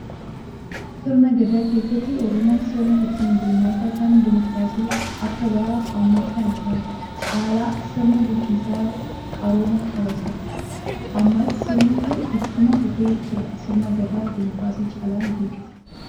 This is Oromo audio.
Sirna gadaa keessatti oromoon sirna ittiin bulmaataa kan dimookiraasii akka bara ammaa kana kan caala sirna bulchiinsaa qaroomaa qaba ture. Ammas sirni kun ittuma fufee jira. Sirna gadaa dimookiraasii caalaan dinqisiifadha.